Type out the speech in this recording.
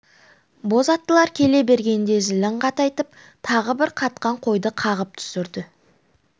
боз аттылар келе бергенде зілін қатайтып тағы бір қатқан қойды қағып түсірді